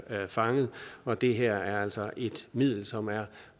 fanget og det her er altså et middel som er